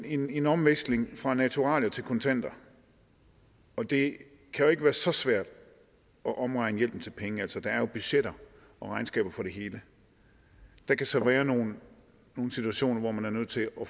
en en omlægning fra naturalier til kontanter og det kan jo ikke være så svært at omregne hjælpen til penge der er jo budgetter og regnskaber for det hele der kan så være nogle situationer hvor man er nødt til at